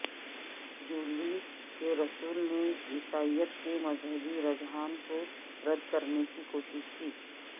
Julian کے رسول نے عیسائیت کے مذہبی رجحان کو رد کرنے کی کوشش کی